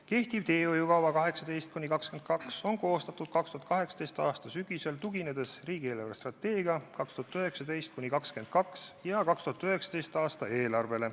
Kehtiv teehoiukava aastateks 2018–2022 on koostatud 2018. aasta sügisel, tuginedes 2019.–2022. aasta riigi eelarvestrateegiale ja 2019. aasta eelarvele.